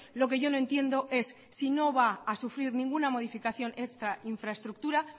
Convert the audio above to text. lo que yo no entiendo es si no va a sufrir ninguna modificación esta infraestructura